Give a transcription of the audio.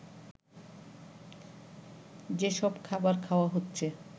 যেসব খাবার খাওয়া হচ্ছে